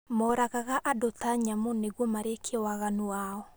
Moragaga andũ ta nyamũ nĩguo marĩkie waganu wao